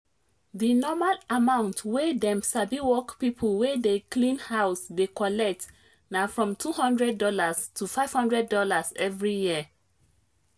dinormal amount wey dem sabiwork pipo wey dey clean house dey collect na from $200 to five hundred dollars every year